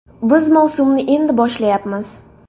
Biz mavsumni endi boshlayapmiz.